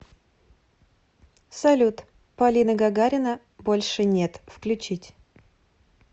салют полина гагарина больше нет включить